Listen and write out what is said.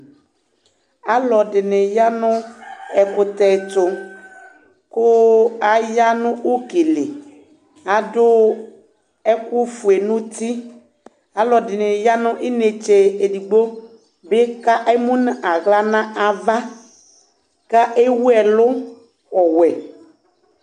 Alu ɛdɩnɩ ya nʋ ɛkʋtɛ ɛtʋ, kʋ aya nʋ uki li, adu ɛkʋfue nʋ uti Alu ɛdɩnɩ ya nʋ inetse edigbo bɩkʋ emu nʋ aɣla nʋ ava, kʋ ewu ɛlʋ ɔwɛ